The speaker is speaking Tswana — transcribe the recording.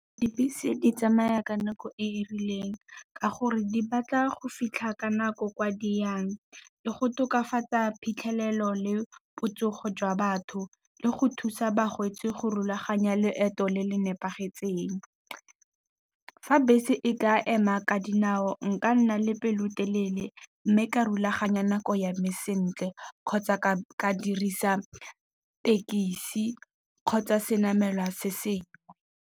Dibese di tsamaya ka nako e e rileng ka gore di batla go fitlha ka nako kwa di yang. Le go tokafatsa phitlhelelo le botsogo jwa batho le go thusa balwetsi go rulaganya leeto le le nepagetseng. Fa bese e ka ema ka dinao nka nna le pelotelele mme ka rulaganya nako ya me sentle, kgotsa ka dirisa tekesi kgotsa se namelwa se sengwe.